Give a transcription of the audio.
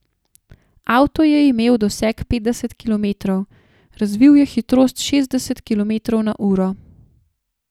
Avto je imel doseg petdeset kilometrov, razvil je hitrost šestdeset kilometrov na uro.